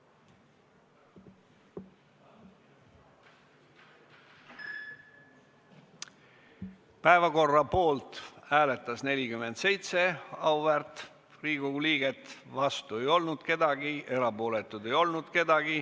Hääletustulemused Päevakorra poolt hääletas 47 auväärt Riigikogu liiget, vastu ei olnud keegi, erapooletuid ei olnud.